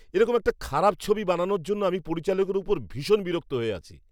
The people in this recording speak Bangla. এরকম একটা খারাপ ছবি বানানোর জন্য আমি পরিচালকের ওপর ভীষণ বিরক্ত হয়ে আছি।